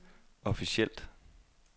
officielt